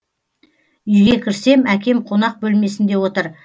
үйге кірсем әкем қонақ бөлмесінде отыр